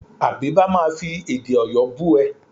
Àbíbá máa fi èdè Ọ̀yọ́ bú ẹ.